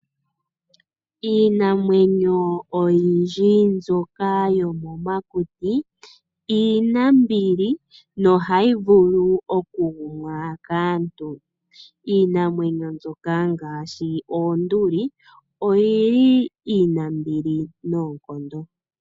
Iinamwenyo oyindji mboka yomomakuti, iinambili, noha yi vulu okugumwa kaantu. Iinamwenyo mbika ngaashi oonduli, iinambili noonkondo.